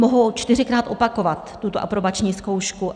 Mohou čtyřikrát opakovat tuto aprobační zkoušku.